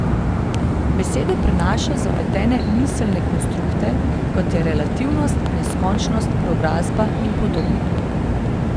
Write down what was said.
Besede prenašajo zapletene miselne konstrukte, kot je relativnost, neskončnost, preobrazba in podobno.